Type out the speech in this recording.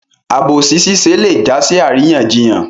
Àbòsí ṣiṣẹ́ lé jásí àríyànjiyàn